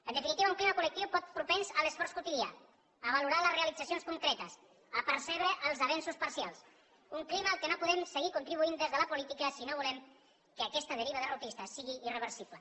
en definitiva un clima col·lectiu poc propens a l’esforç quotidià a valorar les realitzacions concretes a percebre els avenços parcials un clima al qual no podem seguir contribuint des de la política si no volem que aquesta deriva derrotista sigui irreversible